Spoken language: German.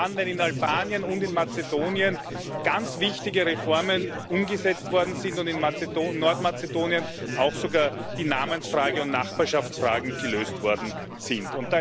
Gerade dann, wenn in Albanien und in Mazedonien ganz wichtige Reformen umgesetzt worden sind und in Nordmazedonien sogar auch die Namensfrage und Nachbarschaftsfragen gelöst worden sind.